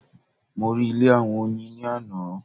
Mo rí ilé àwọn Oyin ni ààná